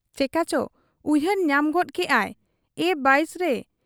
ᱪᱮᱠᱟ ᱪᱚ ᱩᱭᱦᱟᱹᱨ ᱧᱟᱢ ᱜᱚᱫ ᱠᱮᱜ ᱟᱭᱼᱼ 'ᱮ ᱵᱟᱭᱥᱚᱨᱮ !